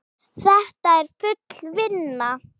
Þetta er full vinna.